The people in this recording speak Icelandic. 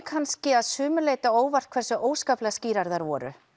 kannski að sumu leyti á óvart hversu óskaplega skýrar þær voru